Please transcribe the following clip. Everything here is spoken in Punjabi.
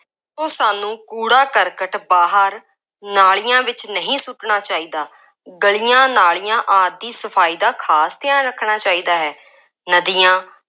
ਉਹ ਸਾਨੂੰ ਕੂੜਾ ਕਰਕਟ ਬਾਹਰ ਨਾਲੀਆਂ ਵਿੱਚ ਨਹੀਂ ਸੁੱਟਣਾ ਚਾਹੀਦਾ। ਗਲੀਆਂ, ਨਾਲੀਆਂ ਆਦਿ ਦੀ ਸਫਾਈ ਦਾ ਖਾਸ ਧਿਆਨ ਰੱਖਣਾ ਚਾਹੀਦਾ ਹੈ।॥ ਨਦੀਆਂ